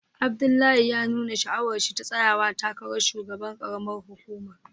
Abdullahi ya nuna sha'awarsa ta tsayawa takarar shugaban karamar hukumar